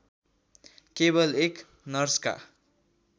केवल एक नर्सका